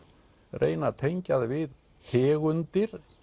reyna að tengja það við tegundir